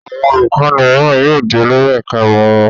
Àwọn olùkọ́ní mìíràn yóò di olórí ẹ̀ka-ìmọ̀ wọn.